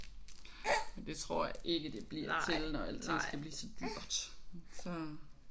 Men det tror jeg ikke det bliver til når alting skal blive så dyrt så